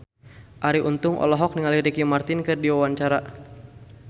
Arie Untung olohok ningali Ricky Martin keur diwawancara